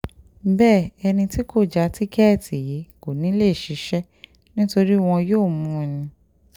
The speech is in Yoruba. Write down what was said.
bẹ́ẹ̀ ẹni tí kò já tíkẹ́ẹ̀tì yìí kò ní í lè ṣiṣẹ́ nítorí wọn yóò mú un ni